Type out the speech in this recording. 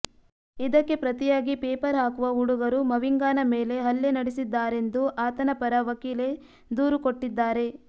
ಇದಕ್ಕೆ ಪ್ರತಿಯಾಗಿ ಪೇಪರ್ ಹಾಕುವ ಹುಡುಗರು ಮವಿಂಗಾನ ಮೇಲೆ ಹಲ್ಲೆ ನಡೆಸಿದ್ದಾರೆಂದು ಆತನ ಪರ ವಕೀಲೆ ದೂರು ಕೊಟ್ಟಿದ್ದಾರೆ